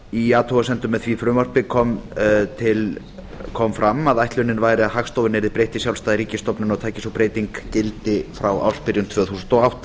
í athugasemdum með því frumvarpi kom fram að ætlunin væri að hagstofunni yrði breytt í sjálfstæða ríkisstofnun og tæki sú breyting gildi frá ársbyrjun tvö þúsund og átta